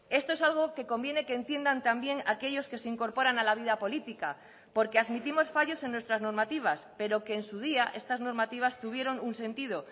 esto es algo que conviene que entiendan también aquellos que se incorporan a la vida política porque admitimos fallos en nuestras normativas pero que en su día estas normativas tuvieron un sentido